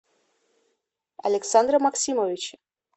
александра максимовича